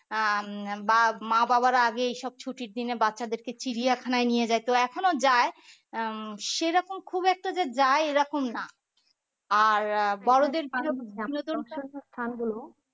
আহ বা মা বাবারা এইসব ছুটির দিনে বাচ্চাদের কে চিড়িয়াখানায় নিয়ে যাইতো এখনও যাই আহ সেরকম খুব একটা যে যাই এরকম না আর বড়োদের